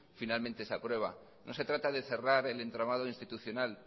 finalmente se aprueba no se trata de cerrar el entramado institucional